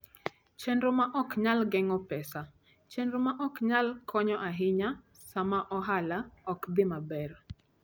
Chenro ma Ok Nyal Geng'o Pesa: Chenro ma ok nyal konyo ahinya sama ohala ok dhi maber.